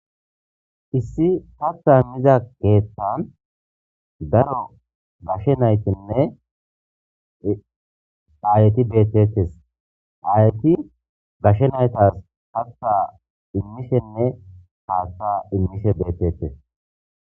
Issi katha immiza keethan daro gashe naytenne aayeti betetes ayeti gashe naytas hatta immishenne haatha immishe betetes.